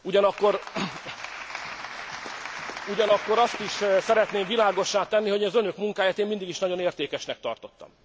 Ugyanakkor azt is szeretném világossá tenni, hogy az önök munkáját mindig is nagyon értékesnek tartottam.